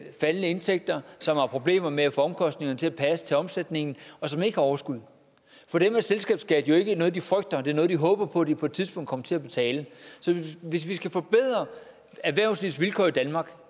faldende indtægter som har problemer med at få omkostningerne til at passe til omsætningen og som ikke har overskud for dem er selskabsskat jo ikke noget de frygter det er noget de håber på de på et tidspunkt kommer til at betale så hvis vi skal forbedre erhvervslivets vilkår i danmark